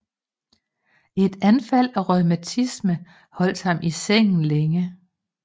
Et anfald af reumatisme holdt ham i sengen længe